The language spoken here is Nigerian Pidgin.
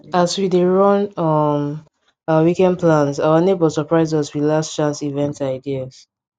as we dey run um our weekend plans our neighbor surprise us with last chance event ideas